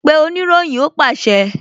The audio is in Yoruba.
Pe oniroyin! Ó pàṣẹ